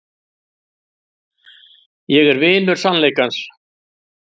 Ég er vinur sannleikans.